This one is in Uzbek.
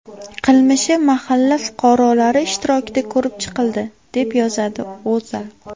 qilmishi mahalla fuqarolari ishtirokida ko‘rib chiqildi, deb yozadi O‘zA.